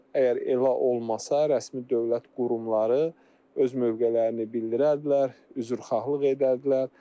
Əgər elə olmasa, rəsmi dövlət qurumları öz mövqelərini bildirərdilər, üzrxahlıq edərdilər.